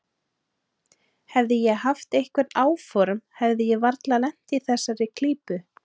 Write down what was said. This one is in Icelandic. Hefði ég haft einhver áform hefði ég varla lent í þessari klípu.